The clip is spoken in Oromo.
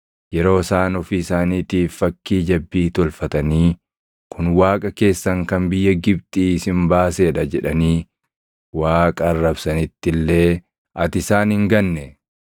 yeroo isaan ofii isaaniitiif fakkii jabbii tolfatanii, ‘Kun Waaqa keessan kan biyya Gibxii isin baasee dha’ jedhanii Waaqa arrabsanitti illee ati isaan hin ganne.